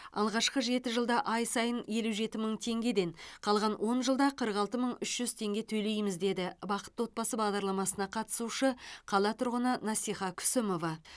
алғашқы жеті жылда ай сайын елу жеті мың теңгеден қалған он жылда қырық алты мың үш жүз теңге төлейміз деді бақытты отбасы бағдарламасына қатысушы қала тұрғыны насиха күсімова